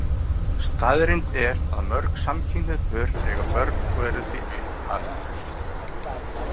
Staðreynd er að mörg samkynhneigð pör eiga börn og eru því uppalendur.